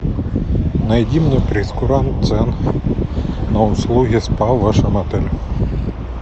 найди мне прейскурант цен на услуги спа в вашем отеле